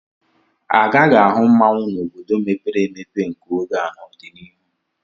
A gaghi ahụ mmanwụ n'obodo mepere emepe nke oge a n'ọdịnihu.